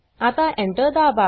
आता Enter दाबा